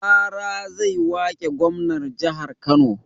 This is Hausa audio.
Rara zai wake gwamnan jahar kano